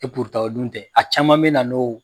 o dun tɛ, a caman bɛ na n'oo.